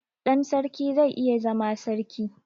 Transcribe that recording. Ɗan sarki zai iya zama sarki